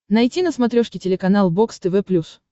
найти на смотрешке телеканал бокс тв плюс